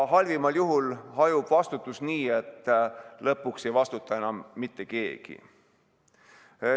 Halvimal juhul hajub vastutus nii, et lõpuks ei vastuta enam mitte keegi.